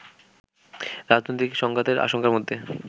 রাজনৈতিক সংঘাতের আশঙ্কার মধ্যে